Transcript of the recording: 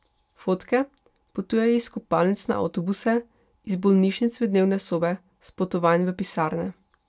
Fotke potujejo iz kopalnic na avtobuse, iz bolnišnic v dnevne sobe, s potovanj v pisarne.